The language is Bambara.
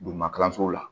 Duguma kalansow la